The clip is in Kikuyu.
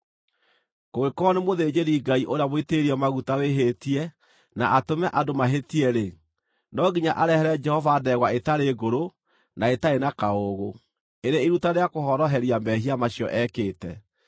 “ ‘Kũngĩkorwo nĩ mũthĩnjĩri-Ngai ũrĩa mũitĩrĩrie maguta wĩhĩtie na atũme andũ mahĩtie-rĩ, no nginya arehere Jehova ndegwa ĩtarĩ ngũrũ na ĩtarĩ na kaũũgũ, ĩrĩ iruta rĩa kũhoroheria mehia macio ekĩte.